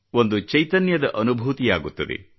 ಒಂದು ಚೈತನ್ಯದ ಅನುಭೂತಿಯಾಗುತ್ತದೆ